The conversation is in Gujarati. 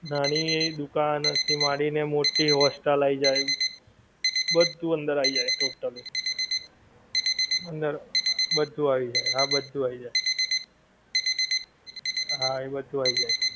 નાની એવી દુકાન માંડી ને hostel આઈ જાએ બધું અંદર આઈ જાએ totally અંદર બધું આવી જાએ હા બધું આવી જાએ હા એ બધું આઈ જાએ